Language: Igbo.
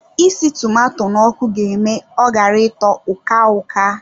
Isi tomato n'ọkụ ga eme ọ ghara ịtọ uka-uka